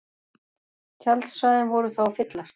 Tjaldsvæðin voru þá að fyllast